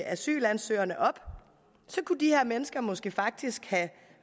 asylansøgerne op kunne de her mennesker måske faktisk